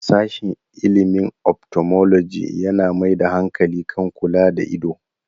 Sashen ilimin 'Ophthalmology' yana mai da hankali kan kula da ido.